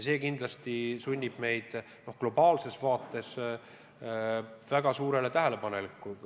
See kindlasti sunnib meid globaalses vaates väga tähelepanelik olema.